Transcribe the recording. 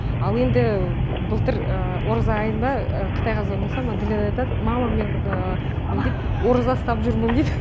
ал енді былтыр ораза айында қытайға звандасам аделина айтады мама мен не дейді ораза ұстап жүрмін дейді